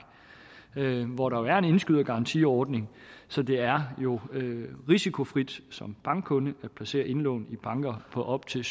hvor der er en indskydergarantiordning så det er jo risikofrit som bankkunde at placere indlån i banker på op til